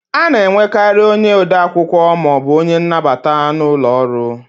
A na enwekarị ode akwụkwọ maọbụ onye nnabata n'ụlọ ọrụ